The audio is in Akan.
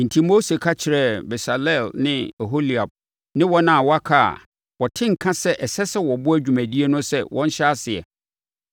Enti, Mose ka kyerɛɛ Besaleel ne Oholiab ne wɔn a wɔaka na wɔte nka sɛ ɛsɛ sɛ wɔboa dwumadie no sɛ wɔnhyɛ aseɛ.